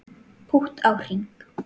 Pútt á hring